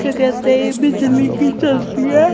क्या कहते है ये बिजली की चलती है।